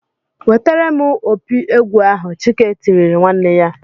"Wetere m opi egwu ahụ!" Chike tirile nwanne ya.